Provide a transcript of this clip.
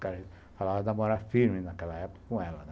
Falava de namorar firme naquela época com ela, né.